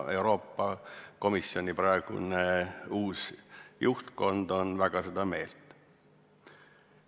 Euroopa Komisjoni uus juhtkond on väga seda meelt.